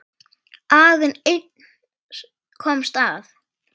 Aðeins einn komst af.